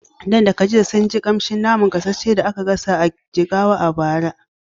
Dan da Khadija sun ji ƙamshin gasasshen naman da aka gasa a wani gidan biredi da ke Jigawa a bara.